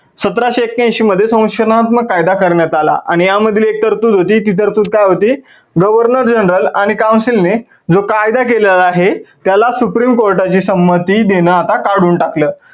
सतराशे एक्क्यांऐंशी मध्ये संशोधनात्मक कायदा करण्यात आला आणि त्यामध्ये एक तरतूद होती ती तरतूद काय होती governor general आणि council ने जो कायदा केलेला आहे त्याला supreme कोर्टाची संमती देणं आता काढून टाकलं